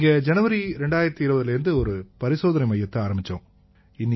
இங்க ஜனவரி 2020லேர்ந்து ஒரு பரிசோதனை மையத்தை ஆரம்பிச்சோம்